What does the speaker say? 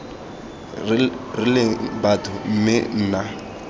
re leng batho mme nna